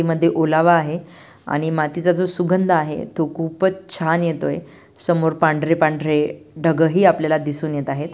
मध्ये ओलावा आहे आणि मातीचा जो सुगंध आहे तो खूपच छान येतोय समोर पांढरे-पांढरे ढगं ही आपल्याला दिसून येत आहेत.